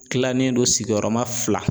Kilalen don sigiyɔrɔma fila.